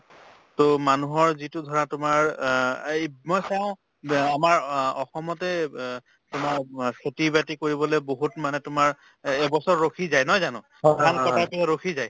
to মানুহৰ যিটো ধৰা তোমাৰ অ এই মই চাওঁ ব্য আমাৰ অ~ অসমতে অব তোমাৰ অব খেতি-বাতি কৰিবলৈ বহুত মানে তোমাৰ এ~ এবছৰ ৰখি যায় নহয় জানো ধান কটাওতেও ৰখি যায়